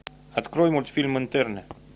открой мультфильм интерны